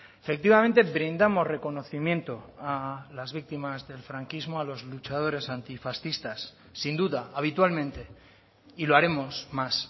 efectivamente brindamos reconocimiento a las víctimas del franquismo a los luchadores antifascistas sin duda habitualmente y lo haremos más